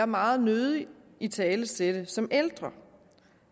meget nødig italesætte som ældre